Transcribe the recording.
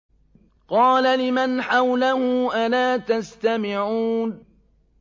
قَالَ لِمَنْ حَوْلَهُ أَلَا تَسْتَمِعُونَ